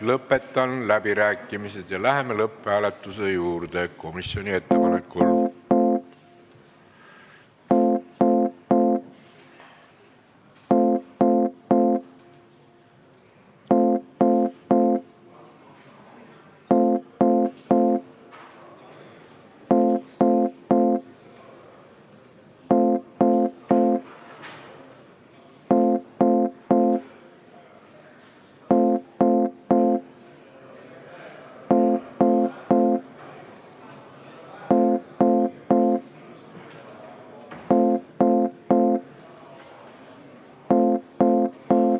Lõpetan läbirääkimised ja komisjoni ettepanekul läheme lõpphääletuse juurde.